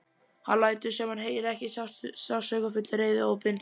Hann lætur sem hann heyri ekki sársaukafull reiðihrópin.